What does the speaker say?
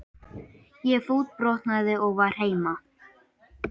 Ég fótbrotnaði og var heima.